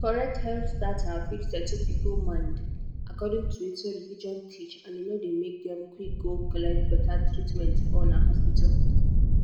correct health data fit settle people mind according to wetin religion teach and e no dey make dem quick go collect beta treatment for hospital.